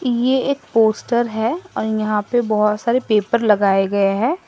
ये एक पोस्टर है और यहां पे बहोत सारे पेपर लगाए गए है।